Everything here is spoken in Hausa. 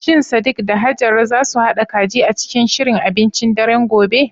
Shin Sadiq da Hajara za su haɗa kaji a cikin shirin abincin daren gobe?